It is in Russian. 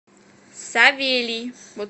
савелий